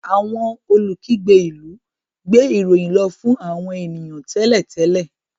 Awọn olukigbe ilú gbé ìròyìn lò fún àwọn ènìyàn télètélè